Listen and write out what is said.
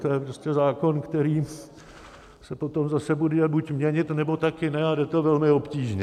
To je prostě zákon, který se potom bude zase buď měnit, nebo také ne, a jde to velmi obtížně.